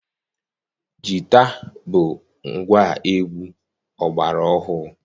Jita bụ ngwaegwu ọgbara ọhụrụ.